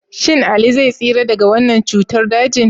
Shin Ali zai tsira daga wannan cutar dajin?